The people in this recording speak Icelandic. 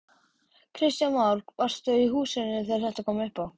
Kristján Már: Varstu í húsinu þegar þetta kom upp á?